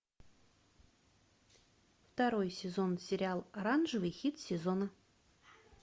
второй сезон сериал оранжевый хит сезона